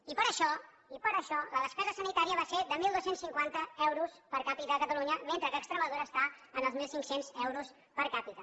i per això i per això la despesa sanitària va ser de dotze cinquanta euros per capita a catalunya mentre que a extremadura està en els mil cinc cents euros per capita